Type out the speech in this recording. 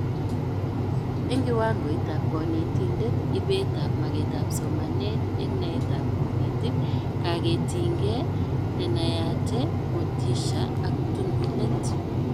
Eng kiwangoitab konetindet:Ibetab magetab somanet engnaeetab konetik, kaketingee, nenayate, motisha ak tununet